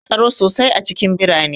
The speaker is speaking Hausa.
Akwai tsaro sosai a cikin birane